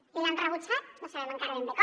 i l’han rebutjat no sabem encara ben bé com